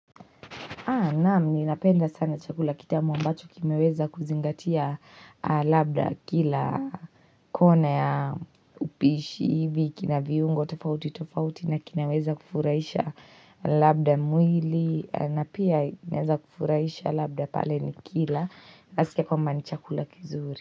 Naam ninapenda sana chakula kitamu ambacho kimeweza kuzingatia labda kila kone ya upishi hivi kina viungo tofauti tofauti na kinaweza kufurahisha labda mwili na pia naeza kufurahisha labda pale nikila nasikia kwamba ni chakula kizuri.